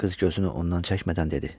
Qız gözünü ondan çəkmədən dedi: